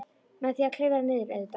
Með því að klifra niður, auðvitað.